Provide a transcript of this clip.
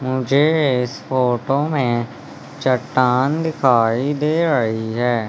मुझे इस फोटो में चट्टान दिखाई दे रही है।